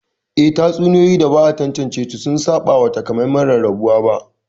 Eh, tatsuniyoyi da ba a tantance su sun saba wa takamaiman rarrabuwa ba